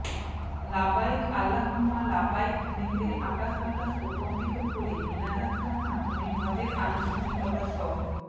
লাব্বাইক আল্লাহুম্মা লাব্বাইক ধ্বনিতে আকাশ বাতাস প্রকম্পিত করে মিনা যাত্রার মাধ্যমে হজ্জের আনুষ্ঠানিকতা শ